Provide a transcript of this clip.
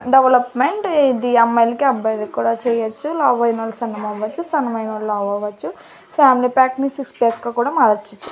Development ఇది అమ్మాయిలకి అబ్బాయిలకి కూడా చేయొచ్చు లావైనోళ్లు సన్నగా అవ్వచ్చు సన్నమైనోళ్లు లావ్ అవ్వచ్చు ఫ్యామిలీ ప్యాక్ ని సిక్స్ ప్యాక్ కూడా మార్చొచ్చు.